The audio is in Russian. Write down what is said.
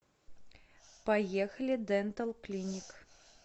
поехали дентал клиник